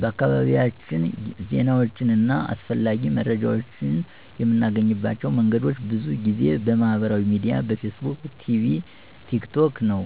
በአካባቢያችን ዜናዎችን እና አስፈላጊ መረጃዎችን የምናገኝባቸው መንገዶች ብዙ ጊዜ በማህበራዊ ሚዲያ (በፌስቡክ፣ ቲክ ቶክ) ነው።